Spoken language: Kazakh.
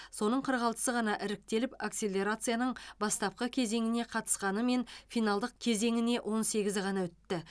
соның қырық алтысы ғана іріктеліп акселерацияның бастапқы кезеңіне қатысқанымен финалдық кезеңіне он сегізі ғана өтті